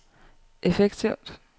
effektivt